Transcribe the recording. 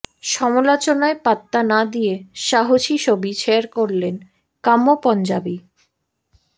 সমালোচনায় পাত্তা না দিয়ে সাহসী ছবি শেয়ার করলেন কাম্য পঞ্জাবি